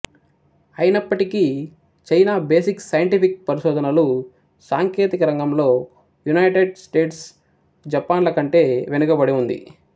అయినప్పటికీ China basic scientific పరిశోధనలు సాంకేతికరంగంలో యునైటెడ్ స్టేట్స్ జపాన్ల కంటే వెనుకబడి ఉంది